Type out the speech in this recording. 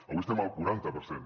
avui estem al quaranta per cent